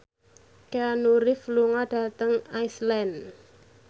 Keanu Reeves lunga dhateng Iceland